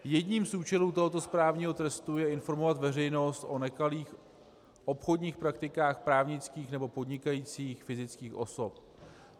Jedním z účelů tohoto správního trestu je informovat veřejnost o nekalých obchodních praktikách právnických nebo podnikajících fyzických osob.